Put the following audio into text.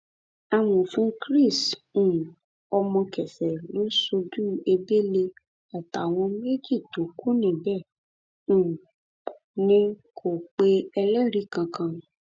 amòfin chris um omokefẹ lọ sójú ebele àtàwọn méjì tó kù bẹẹ um ni kò pe ẹlẹrìí kankan